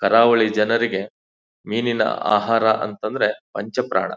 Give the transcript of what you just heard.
ಕರಾವಳಿ ಜನರಿಗೆ ಮೀನಿನ ಆಹಾರ ಅಂತ ಅಂದ್ರ ಪಂಚ ಪ್ರಾಣ.